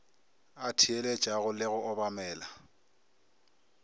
a theeletšago le go obamela